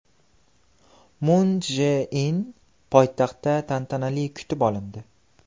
Mun Chje In poytaxtda tantanali kutib olindi .